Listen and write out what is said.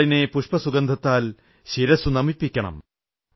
വാളിനെ പുഷ്പസുഗന്ധത്താൽ ശിരസ്സുനമിപ്പിക്കണം